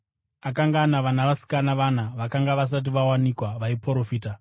Akanga ana vanasikana vana vakanga vasati vawanikwa vaiprofita.